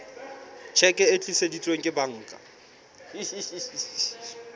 tjheke e tiiseditsweng ke banka